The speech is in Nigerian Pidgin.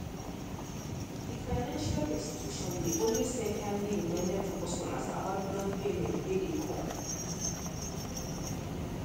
the financial institution dey always send timely reminder to customers about loan payment wey dey come